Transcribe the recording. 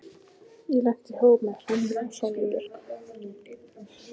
Ég lenti í hópi með Hrönn og Sóleyju Björk.